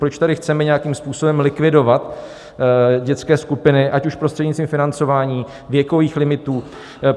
Proč tady chceme nějakým způsobem likvidovat dětské skupiny, ať už prostřednictvím financování, věkových limitů?